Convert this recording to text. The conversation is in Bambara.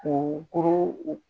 Kunkolo o